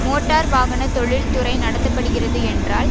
motor வாகன தொழில்துறை நடத்த படுகிறது என்றால்